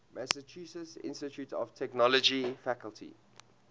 massachusetts institute of technology faculty